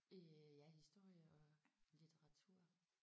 Øh ja historie og litteratur